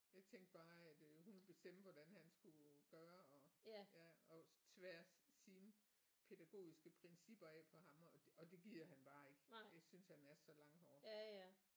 Jeg tænkte bare at øh hun ville bestemme hvordan han skulle gøre og ja og tvære sine pædagogiske principper af på ham og og det gider han bare ikke det synes han er så langhåret